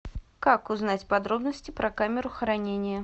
как узнать подробности про камеру хранения